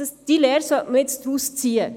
diese Lehre sollte man jetzt daraus ziehen.